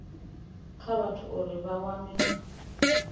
kha vhathu uri vha wane